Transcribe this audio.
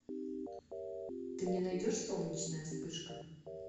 ты мне найдешь солнечная вспышка